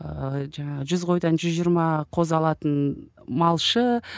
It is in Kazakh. ыыы жаңағы жүз қойдан жүз жиырма қозы алатын малшы